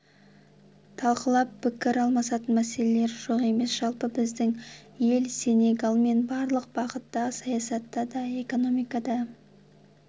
талқылап пікір алмасатын мәселелер жоқ емес жалпы біздің ел сенегалмен барлық бағытта саясатта да экономикада